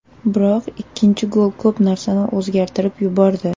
Biroq ikkinchi gol ko‘p narsani o‘zgartirib yubordi.